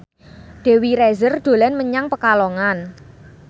Dewi Rezer dolan menyang Pekalongan